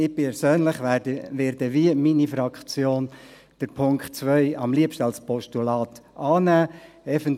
Ich persönlich werde – wie meine Fraktion – den Punkt 2 am liebsten als Postulat annehmen.